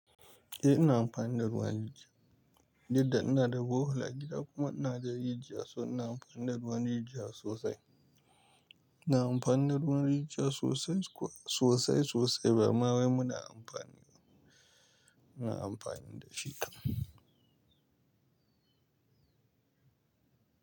Eh ina amfani da ruwan rijiya, duk da ina da borehole a gida kuma inada rijiya so ina amfani da ruwan jijiya sosai. Ina amfani da ruwan rijiya sosai kuwa sosai sosai bama wai muna amfani, muna amfani da shi kam.